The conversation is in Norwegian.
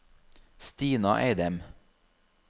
Stina Eidem